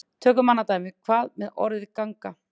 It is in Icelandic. Tökum annað dæmi: Hvað með orðið ganga?